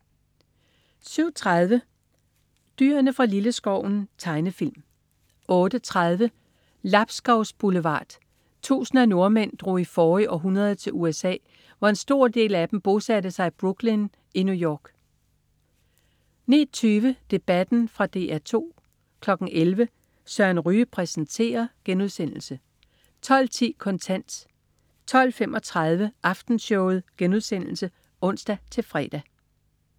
07.30 Dyrene fra Lilleskoven. Tegnefilm 08.30 Lapskaus Boulevard. Tusindvis af nordmænd drog i forrige århundrede til USA, hvor en stor del af dem bosatte sig i Brooklyn i New York 09.20 Debatten. Fra DR2 11.00 Søren Ryge præsenterer* 12.10 Kontant* 12.35 Aftenshowet* (ons-fre)